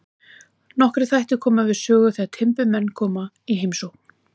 Nokkrir þættir koma við sögu þegar timburmenn koma í heimsókn.